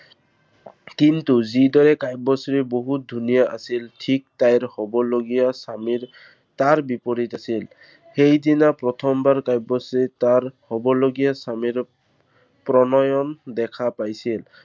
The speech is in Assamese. কিন্তু যি দৰে কাব্যশ্ৰী বহুত ধুনীয়া আছিল, ঠিক তাইৰ হ'বলগীয়া স্বামীৰ তাৰ বিপৰীত আছিল। সেইদিনা প্ৰথমবাৰ কাব্যশ্ৰী তাৰ হ'বলগীয়া স্বামী প্ৰণয়ন দেখা পাইছিল।